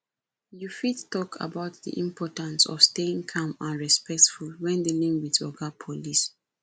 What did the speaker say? you fit talk about di importance of staying calm and respectful when dealing with oga police